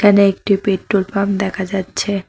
এখানে একটি petrol pump দেখা যাচ্ছে।